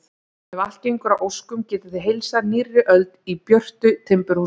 Ef allt gengur að óskum getið þið heilsað nýrri öld í björtu timburhúsi.